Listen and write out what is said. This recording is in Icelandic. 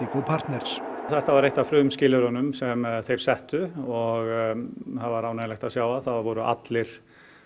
Indigo partners þetta var eitt af frumskilyrðunum sem þeir settu og það var ánægjulegt að sjá að það voru allir